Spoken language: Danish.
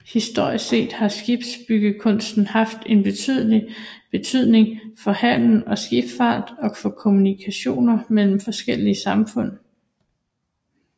Historisk set har skibsbyggekunsten haft en betydelig betydning for handel og skibsfart og for kommunikationer mellem forskellige samfund